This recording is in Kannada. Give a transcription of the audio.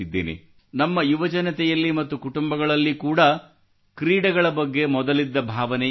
ನಮ್ಮ ಯುವಜನತೆಯಲ್ಲಿ ಮತ್ತು ಕುಟುಂಬಗಳಲ್ಲಿ ಕೂಡಾ ಕ್ರೀಡೆಗಳ ಬಗ್ಗೆ ಮೊದಲಿದ್ದ ಭಾವನೆ ಈಗಿಲ್ಲ